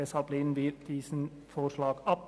Deshalb lehnen wir diesen Vorschlag ab.